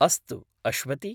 अस्तु अश्वति।